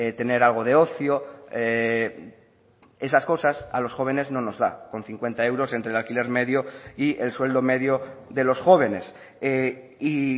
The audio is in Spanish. tener algo de ocio esas cosas a los jóvenes no nos da con cincuenta euros entre el alquiler medio y el sueldo medio de los jóvenes y